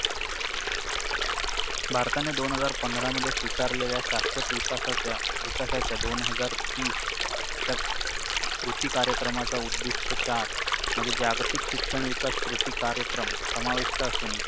भारताने दोन हजार पंधरा मध्ये स्विकारलेल्या शाश्वत विकासाच्या विकासाच्या दोन हजार तीस च्या कृती कार्यक्रमाचा उद्दिष्ट चार मध्ये जागतिक शिक्षण विकास कृती कार्यक्रम समाविष्ट असून